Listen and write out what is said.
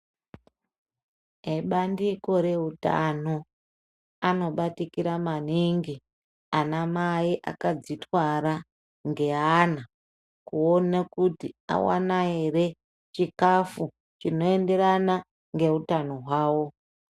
Ebandiko reutano anobatikira maningi, anamai akadzitwara ngeana kuona kuti awana ere chikafu chinoenderana ngeutano hwavo.